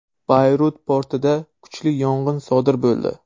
Bayrut portida kuchli yong‘in sodir bo‘ldi.